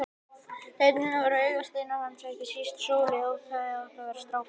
Dæturnar voru augasteinar hans, ekki síst Sóley þótt hún hefði átt að vera strákur.